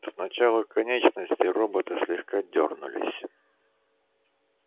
сначала конечности робота слегка дёрнулись